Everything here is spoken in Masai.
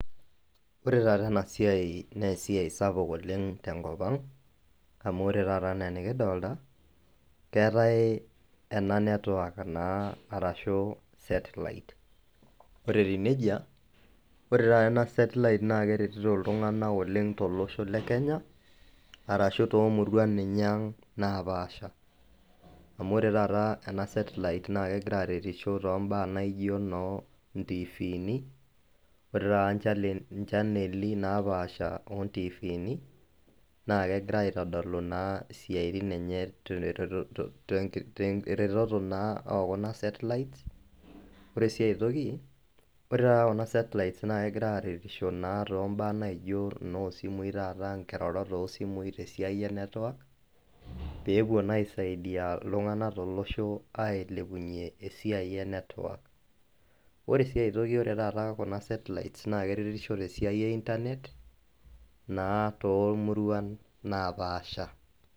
Ore taata ena siai naa esiai sapuk oleng tenkop ang amu ore taata enaa enikidolta keetae ena network naa arashu satelite ore etiu nejia ore taata ena satelite naa keretito iltung'ana oleng tolosho le kenya arashu tomurua ninye ang napaasha amu ore taata ena satelite naa kegira aretisho tombaa naijio inoo intifini ore taata inchaneli napaasha ontifini naa kegira aitodolu naa isiaitin enye teretoto te to teretoto naa okuna satelite ore sii aetoki ore taata kuna satelites naa kegira aretisho naa tombaa naijo inosimui taata inkirorot osimui tesiai e network peepuo naa aisaidia iltung'anak tolosho aisaidia ailepunyie esiai e network ore sii aetoki ore taata kuna satelites naa keretisho tesiai e internet naa tomuruan napaasha.